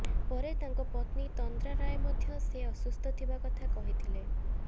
ପରେ ତାଙ୍କ ପତ୍ନୀ ତନ୍ଦ୍ରା ରାୟ ମଧ୍ୟ ସେ ଅସୁସ୍ଥ ଥିବା କଥା କହିଥିଲେ